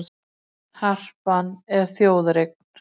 Það er ekkert, í ströngum skilningi þess orðs.